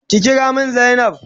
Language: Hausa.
Ki kira min zainab.